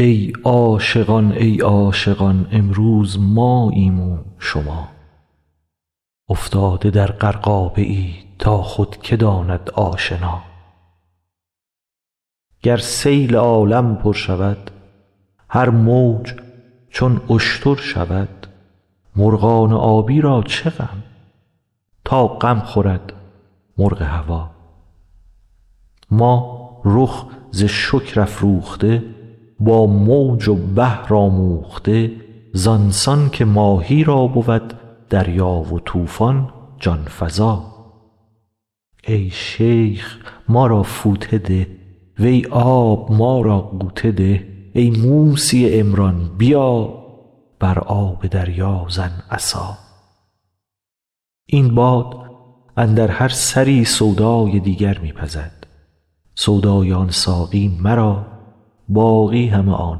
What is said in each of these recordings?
ای عاشقان ای عاشقان امروز ماییم و شما افتاده در غرقابه ای تا خود که داند آشنا گر سیل عالم پر شود هر موج چون اشتر شود مرغان آبی را چه غم تا غم خورد مرغ هوا ما رخ ز شکر افروخته با موج و بحر آموخته زان سان که ماهی را بود دریا و طوفان جان فزا ای شیخ ما را فوطه ده وی آب ما را غوطه ده ای موسی عمران بیا بر آب دریا زن عصا این باد اندر هر سری سودای دیگر می پزد سودای آن ساقی مرا باقی همه آن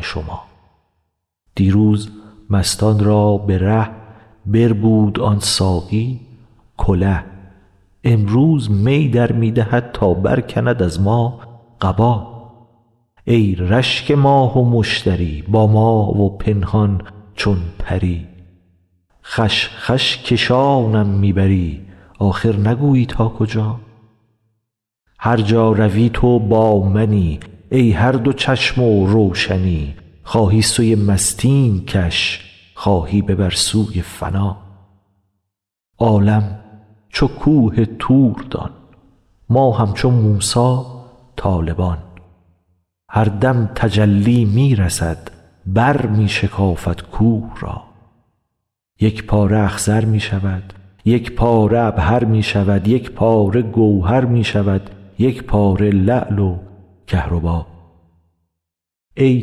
شما دیروز مستان را به ره بربود آن ساقی کله امروز می در می دهد تا برکند از ما قبا ای رشک ماه و مشتری با ما و پنهان چون پری خوش خوش کشانم می بری آخر نگویی تا کجا هر جا روی تو با منی ای هر دو چشم و روشنی خواهی سوی مستیم کش خواهی ببر سوی فنا عالم چو کوه طور دان ما همچو موسی طالبان هر دم تجلی می رسد برمی شکافد کوه را یک پاره اخضر می شود یک پاره عبهر می شود یک پاره گوهر می شود یک پاره لعل و کهربا ای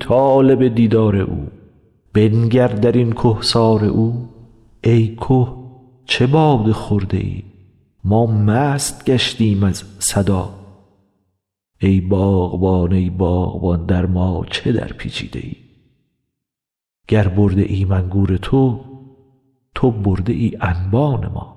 طالب دیدار او بنگر در این کهسار او ای که چه باده خورده ای ما مست گشتیم از صدا ای باغبان ای باغبان در ما چه درپیچیده ای گر برده ایم انگور تو تو برده ای انبان ما